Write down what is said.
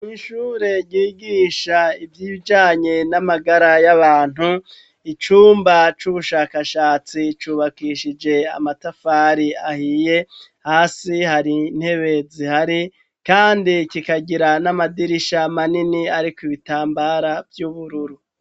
mishure gigisha iby'ibjanye n'amagara y'abantu icumba c'ubushakashatsi cubakishije amatafari ahiye hasi hari ntebe zihari kandi kikagira n'amadirisha manini ariko ibitambara by'ubururu.